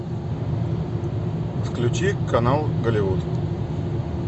включи канал голливуд